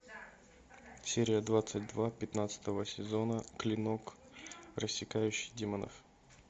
серия двадцать два пятнадцатого сезона клинок рассекающий демонов